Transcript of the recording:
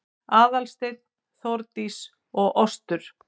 Aðalsteinn, Þórdís og Ostur